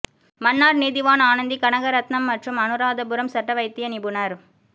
மன்னார் நீதிவான் ஆனந்தி கனகரட்ணம் மற்றும் அனுராதபுரம் சட்ட வைத்திய நிபுணர்